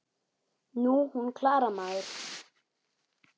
Nú, hún Klara, maður!